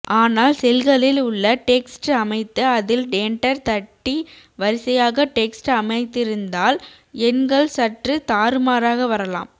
ஆனால் செல்களில் உள்ள டெக்ஸ்ட் அமைத்து அதில் என்டர் தட்டி வரிசையாக டெக்ஸ்ட் அமைத்திருந்தால் எண்கள் சற்று தாறுமாறாக வரலாம்